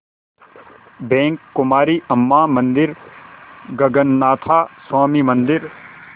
bank Kumari Amman मंदिर गगनाथा स्वामी मंदिर